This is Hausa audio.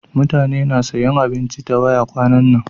Mutane na sayan abinci ta waya kwanan nan.